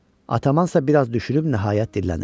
Ataman isə biraz düşünüb nəhayət dillənir.